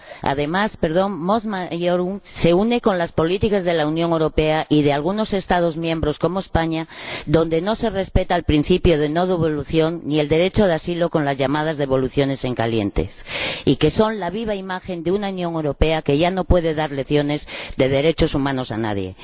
además, Mos Maiorum se une a las políticas de la Unión Europea y de algunos Estados miembros como España donde no se respeta el principio de no devolución ni el derecho de asilo, con las llamadas devoluciones en caliente, que son la viva imagen de una Unión Europea que ya no puede dar lecciones de derechos humanos a nadie.